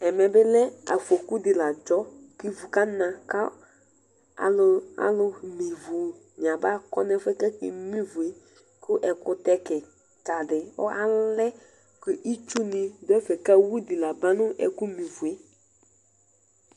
Ɛmɛ bi afɔkʋ di la adzɔ kʋ ivʋ kana kʋ alʋme ivi ni abakɔ nʋ ɛfʋ yɛ kʋ akeme ivie kʋ ɛkʋtɛ kikadi alɛ kʋ itsu ni dʋ ɛfɛ kʋ awʋdo labanʋ ɛkʋ me ivue